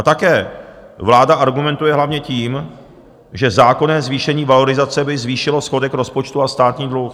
A také vláda argumentuje hlavně tím, že zákonné zvýšení valorizace by zvýšilo schodek rozpočtu a státní dluh.